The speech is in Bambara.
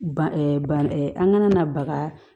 Ban ban an kana na baga